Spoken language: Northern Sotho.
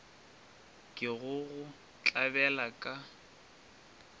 ke go go tlabela ka